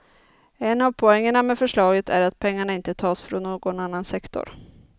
En av poängerna med förslaget är att pengarna inte tas från någon annan sektor.